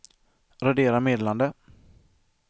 radera meddelande